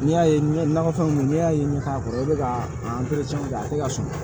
N'i y'a ye ɲɛ nakɔfɛnw kun n'i y'a ye ne t'a kɔrɔ e bɛ ka a a tɛ ka sɔn